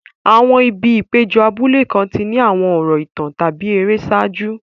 Àwọn ibi ìpéjọ abúlé kan ti ní àwọn ọ̀rọ̀ ìtàn tàbí ère ṣáájú.